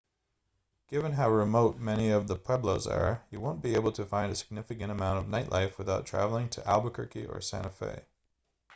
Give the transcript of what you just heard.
given how remote many of the pueblos are you won't be able to find a significant amount of nightlife without traveling to albuquerque or santa fe